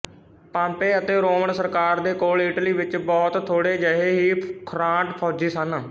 Pompey ਅਤੇ Roman ਸਰਕਾਰ ਦੇ ਕੋਲ ਇਟਲੀ ਵਿੱਚ ਬਹੁਤ ਥੋੜ੍ਹੇਜਿਹੇ ਹੀ ਖ਼ੁਰਾਂਟ ਫੌਜੀ ਸਨ